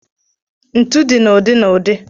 Ntu dị na ụdị na ụdị.